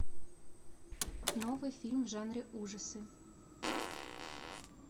новый фильм в жанре ужасы